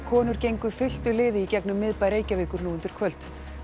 konur gengu fylktu liði í gegnum miðbæ Reykjavíkur nú undir kvöld